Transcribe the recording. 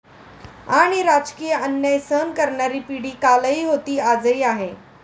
आणि राजकीय अन्याय सहन करणारी पिढी कालही होती आजही आहे.